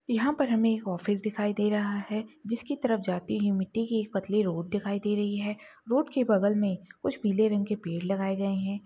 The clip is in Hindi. यहाँ पर हमे एक ऑफिस दिखाई दे रहा है जिस की तरफ जाते ही मिट्टी की ये पतली रोड दिखाई दे रही है रोड के बगल मे कुछ पीले रंग के पेड लगाए गए है।